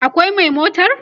akwai Mai a motar?